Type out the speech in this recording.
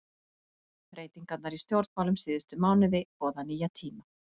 Breytingarnar í stjórnmálum síðustu mánuði boða nýja tíma.